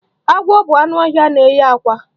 Agwọ bụ anụ ọhịa na-enye àkwá.